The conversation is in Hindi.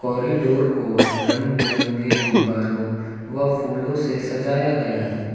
कॉरिडोर को रंग बिरंगे गुब्बारों व फूलों से सजाया गया है।